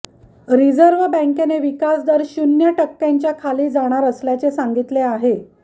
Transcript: reserve बॅंकेने विकासदर शून्य टक्क्यांच्या खाली जाणार असल्याचे सांगितले आहे